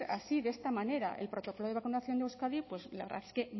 así de esta manera el protocolo de vacunación de euskadi pues la verdad es que